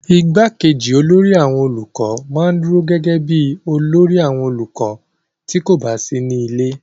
igbákejì olórí àwọn olùkọ́ ma ń dúró gẹ́gẹ́ bíi olórí àwọn olùkọ́ tí kò bá sí nílé